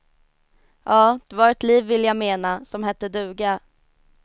Ja, det var ett liv vill jag mena, som hette duga.